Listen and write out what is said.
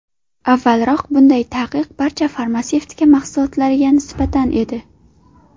Avvalroq bunday taqiq barcha farmatsevtika mahsulotlariga nisbatan edi.